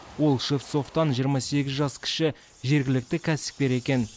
ол шевцовтан жиырма сегіз жас кіші жергілікті кәсіпкер екен